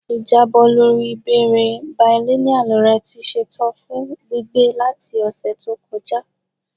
Ijabọ lori ibeere bilineal rẹ ti ṣetan fun gbigbe lati ọsẹ to kọja